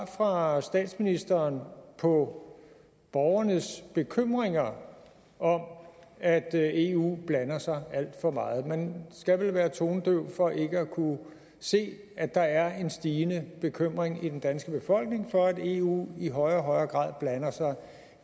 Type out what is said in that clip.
fra statsministeren på borgernes bekymringer om at eu blander sig alt for meget man skal vel være tonedøv for ikke at kunne se at der er en stigende bekymring i den danske befolkning for at eu i højere og højere grad blander sig